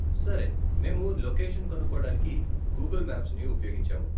సరే, మేము లొకేషన్ కనుక్కోడానికి గూగుల్ మ్యాప్స్ని ఉపయోగించాము.